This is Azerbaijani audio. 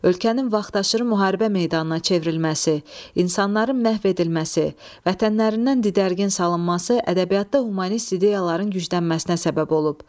Ölkənin vaxtaşırı müharibə meydanına çevrilməsi, insanların məhv edilməsi, vətənlərindən didərgin salınması ədəbiyyatda humanist ideyaların güclənməsinə səbəb olub.